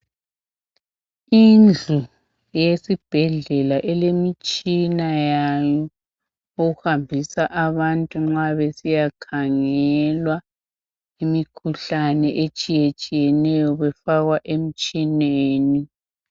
Indlu eyesibhedlela elemitshina yayo ohambisa abantu nxa besiyakhangelwa imikhuhlane etshiyetshiyeneyo befakwa emtshineni.